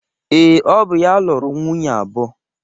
Ee, ọ bụ ya lụrụ nwunye abụọ